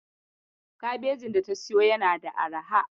Kabejin data siyo yana da arha.